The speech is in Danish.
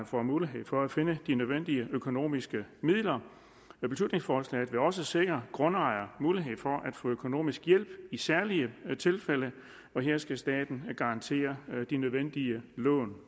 får mulighed for at finde de nødvendige økonomiske midler beslutningsforslaget vil også sikre grundejere mulighed for at få økonomisk hjælp i særlige tilfælde og her skal staten garantere de nødvendige lån